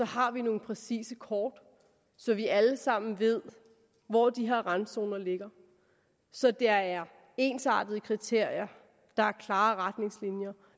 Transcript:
har nogle præcise kort så vi alle sammen ved hvor de her randzoner ligger så der er ensartede kriterier klare retningslinjer